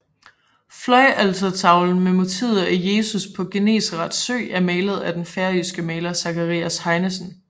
Fløjaltertavlen med motivet af Jesus på Genesaret sø er malet af den færøske maler Zacharias Heinesen